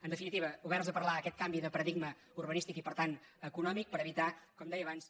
en definitiva oberts a parlar aquest canvi de paradig·ma urbanístic i per tant econòmic per evitar com deia abans